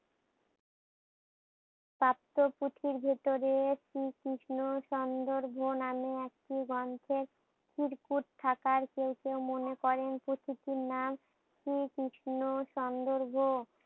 প্রাপ্ত পুঁথির ভিতরে শ্রী কৃষ্ণর সন্দর্ভ নামে একটি গ্রন্থের চিরকুট থাকায় কেউ কেউ মনে করেন পুঁথিটির নাম শ্রী কৃষ্ণ সন্দর্ভ